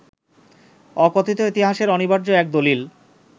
অকথিত ইতিহাসের অনিবার্য এক দলিল